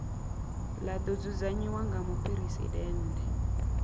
ḽa ḓo dzudzanyiwa nga muphuresidennde